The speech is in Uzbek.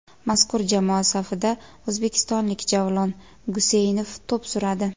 Mazkur jamoa safida o‘zbekistonlik Javlon Guseynov to‘p suradi .